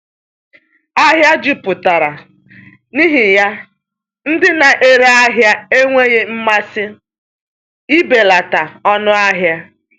Ahịa jupụtara, n’ihi ya ndị na-ere ahịa enweghị mmasị ibelata ọnụ ahịa.